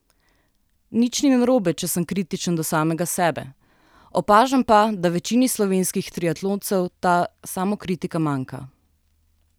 Nič ni narobe, če sem kritičen do samega sebe, opažam pa, da večini slovenskih triatloncev ta samokritika manjka.